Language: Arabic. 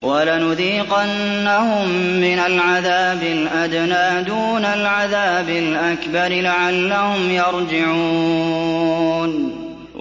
وَلَنُذِيقَنَّهُم مِّنَ الْعَذَابِ الْأَدْنَىٰ دُونَ الْعَذَابِ الْأَكْبَرِ لَعَلَّهُمْ يَرْجِعُونَ